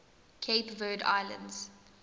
cape verde islands